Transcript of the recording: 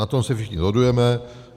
Na tom se všichni shodujeme.